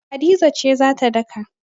Hadiza ce za ta daka.